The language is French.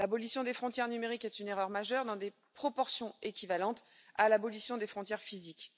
L'abolition des frontières numériques est une erreur majeure dans des proportions équivalentes à l'abolition des frontières physiques.